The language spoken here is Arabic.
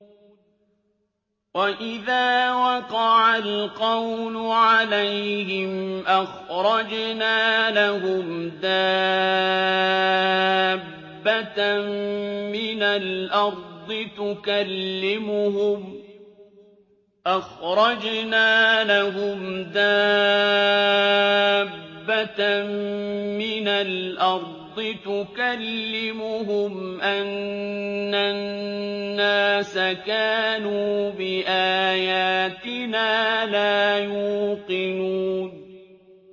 ۞ وَإِذَا وَقَعَ الْقَوْلُ عَلَيْهِمْ أَخْرَجْنَا لَهُمْ دَابَّةً مِّنَ الْأَرْضِ تُكَلِّمُهُمْ أَنَّ النَّاسَ كَانُوا بِآيَاتِنَا لَا يُوقِنُونَ